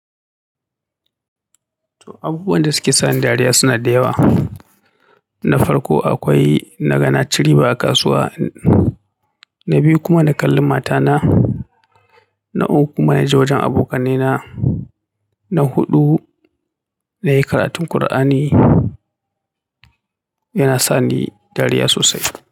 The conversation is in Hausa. To, abubuwan da suke sa ni dariya suna da yawa. Na farko akwai na ga na ci riba a kasuwa, na biyu kuma na kalla matana, na uku kuma na ji wajen abokannena, na huɗu na yi karatun ƙur'ani. Yana sa ni dariya sosai.